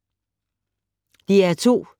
DR2